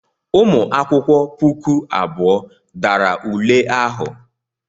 Ụmụ akwụkwọ puku abụọ dara ule ahụ.